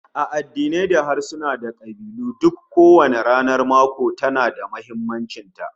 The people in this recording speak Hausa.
A addinai da harsuna da kabilu duk kowanne ranar mako tana da muhimmancin ta